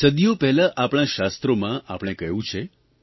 સદીઓ પહેલાં આપણા શાસ્ત્રોમાં આપણે કહ્યું છે